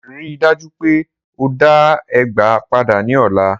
Rii daju pe o da ẹgba pada ni ọla.